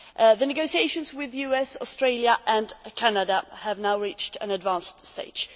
The negotiations with the US, Australia and Canada have now reached an advanced stage.